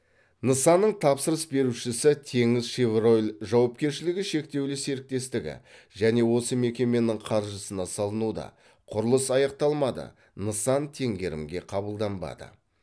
нысанның тапсырыс берушісі теңізшевройл жауапкершілігі шектеулі серіктестігі және осы мекеменің қаржысына салынуда құрылыс аяқталмады нысан теңгерімге қабылданбады